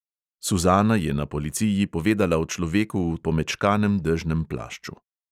Suzana je na policiji povedala o človeku v pomečkanem dežnem plašču.